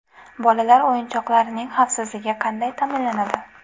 Bolalar o‘yinchoqlarining xavfsizligi qanday ta’minlanadi?.